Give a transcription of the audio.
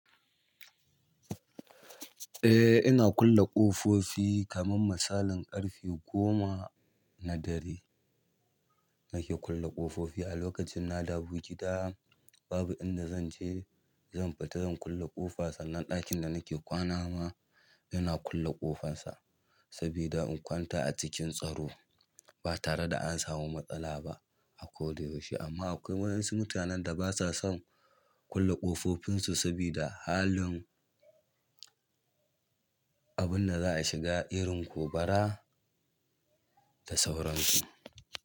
Eh ina kulle ƙofofi kaman misalin ƙarfe goma na dare nake kulle kofofi alokacin nadawo gida babu inda zan je zan fita zan kulle ƙofa sannan ɗakin da nake kwana ma yana kulle ƙofarsa sabida in kwanta a cikin tsaro ba tare da an samu matsala ba a ko da yaushe amma akwai waɗansu mutanen da basa son kulle ƙofofinsu sabida halin abun da za a shiga irin ku bara da sauransu.